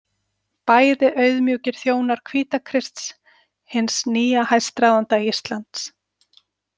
Bæði auðmjúkir þjónar Hvítakrists, hins nýja hæstráðanda Íslands.